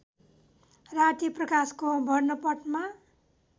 राति प्रकाशको वर्णपटमा